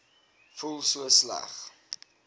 voel so sleg